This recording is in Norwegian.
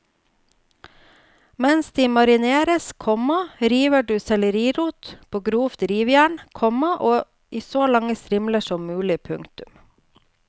Mens de marineres, komma river du sellerirot på grovt rivjern, komma i så lange strimler som mulig. punktum